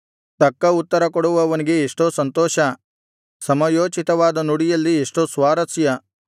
ತಕ್ಕ ಉತ್ತರಕೊಡುವವನಿಗೆ ಎಷ್ಟೋ ಸಂತೋಷ ಸಮಯೋಚಿತವಾದ ನುಡಿಯಲ್ಲಿ ಎಷ್ಟೋ ಸ್ವಾರಸ್ಯ